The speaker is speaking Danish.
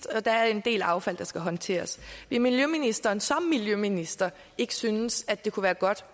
og der er en del affald der skal håndteres vil miljøministeren som miljøminister ikke synes at det kunne være godt